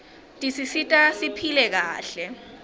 tisisita siphile kahle